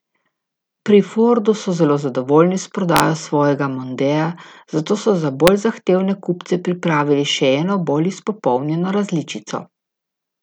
Pri Fordu so zelo zadovoljni s prodajo svojega mondea, zato so za bolj zahtevne kupce pripravili še eno bolj izpopolnjeno različico.